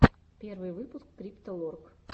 первый выпуск крипто лорк